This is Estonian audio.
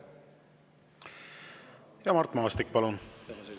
Mart Maastik, palun!